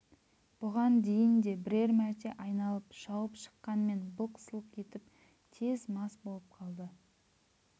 бұған дейін де бірер мәрте айналып шауып шыққанмен былқ-сылқ етіп тез мас болып қалды